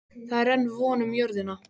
Það er enn von um jörðina.